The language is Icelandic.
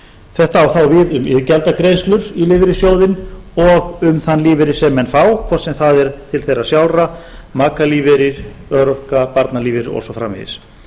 þetta á þá við um iðgjaldagreiðslur í lífeyrissjóðinn og um þann lífeyri sem menn fá hvort sem það er til þeirra sjálfra makalífeyrir örorka barnalífeyrir og svo framvegis